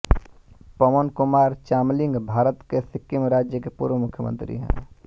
पवन कुमार चामलिंग भारत के सिक्किम राज्य के पूर्व मुख्यमंत्री है